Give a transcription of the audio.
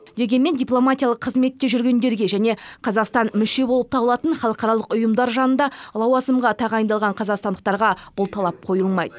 дегенмен дипломатиялық қызметте жүргендерге және қазақстан мүше болып табылатын халықаралық ұйымдар жанында лауазымға тағайындалған қазақстандықтарға бұл талап қойылмайды